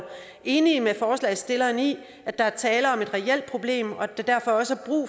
enige med forslagsstillerne i at der er tale om et reelt problem og at der derfor også